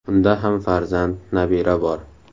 Unda ham farzand, nabira bor.